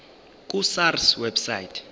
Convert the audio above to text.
ku sars website